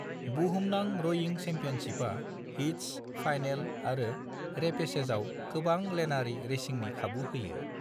बुहुमनां रयिं चेम्पियनशिपा हीट्स, फाइनेल आरो रेपेचेजाव गोबां-लेनारि रेसिंनि खाबु होयो।